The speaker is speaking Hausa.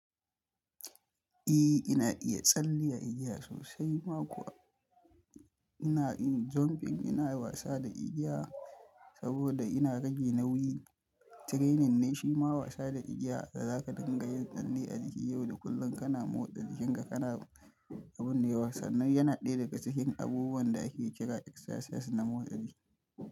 Eh, ina iya tsalle a igiya sosai ma kuwa ina iya jumping ina wasa da igiya saboda ina rage nauyi. Training ne shima wasa da igiya da zaka dingayin tsalle yau da kullum kana motsa jikinka kana, abin dai bansan. Yana ɗaya daga cikin abubuwan da ake kira Exercise na motsa jiki.